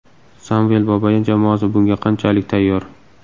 Samvel Babayan jamoasi bunga qanchalik tayyor?